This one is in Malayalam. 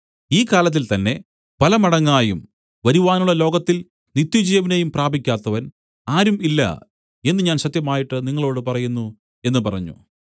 ഈ കാലത്തിൽ തന്നേ പല മടങ്ങായും വരുവാനുള്ള ലോകത്തിൽ നിത്യജീവനെയും പ്രാപിക്കാത്തവൻ ആരും ഇല്ല എന്നു ഞാൻ സത്യമായിട്ട് നിങ്ങളോടു പറയുന്നു എന്നു പറഞ്ഞു